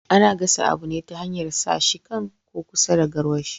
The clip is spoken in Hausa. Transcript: Ana gasa abu ne ta hanyar sa shi kan ko kusa da garwashi